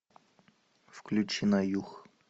включи на юг